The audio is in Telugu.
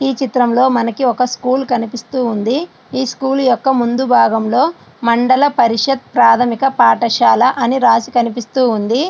ఈ చిత్రంలో మనకి ఒక స్కూల్ కనిపిస్తూ ఉంది. ఈ స్కూల్ యొక్క ముందు భాగంలో మండల ప్రాథమిక పరిషత్ పాఠశాల అని రాసి కనిపిస్తూ ఉంది.